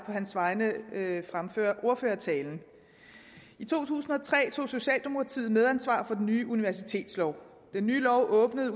hans vegne fremføre ordførertalen i to tusind og tre tog socialdemokratiet medansvar for den nye universitetslov den nye lov åbnede